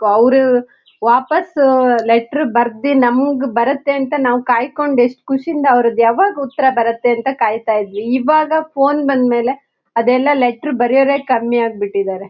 ಅವರು ವಾಪಾಸ್ ಆ ಲೆಟರ್ ಬರ್ದಿ ನಮ್ಗ್ ಬರುತ್ತೆ ಅಂತ ಕಾಯ್ಕೊಂಡು ಎಸ್ಟ್ ಖುಷಿಂದ ಅವರ್ದು ಯಾವಾಗ ಉತ್ತರ ಬರುತ್ತೆ ಅಂತ ಕಾಯ್ತ ಇದ್ವಿ ಇವಾಗ ಫೋನ್ ಬಂದ್ಮೇಲೆ ಅದೆಲ್ಲ ಲೆಟರ್ ಬರೆಯೋವರೆಕಮ್ಮಿ ಆಗ್ಬಿಟ್ಟಿದ್ದಾರೆ.